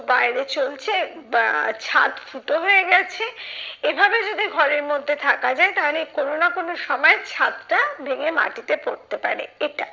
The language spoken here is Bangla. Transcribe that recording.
বাইরে চলছে বা ছাদ ফুটো হয়ে গেছে এভাবে যদি ঘরের মধ্যে থাকা যাই তাহলে কোনো না কোনো সময়ে ছাদটা ভেঙে মাটিতে পড়তে পারে এটা।